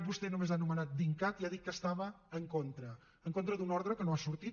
vostè només ha anomenat dincat i ha dit que estava en contra en contra d’una ordre que no ha sortit